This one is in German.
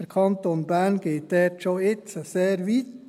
Der Kanton Bern geht dort schon jetzt sehr weit.